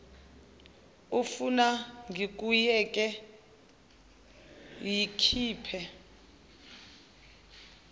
ufuna ngikuyeke yikhiphe